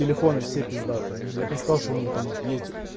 телефоны все пиздатые я б не сказал что у них там есть